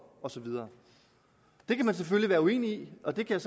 og så videre det kan man selvfølgelig være uenig i og det kan